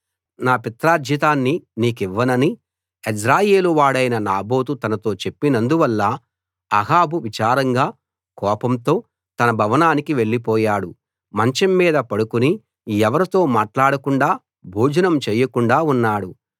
నా పిత్రార్జితాన్ని నీకివ్వనని యెజ్రెయేలు వాడైన నాబోతు తనతో చెప్పినందువల్ల అహాబు విచారంగా కోపంతో తన భవనానికి వెళ్లిపోయాడు మంచం మీద పడుకుని ఎవరితో మాట్లాడకుండా భోజనం చేయకుండా ఉన్నాడు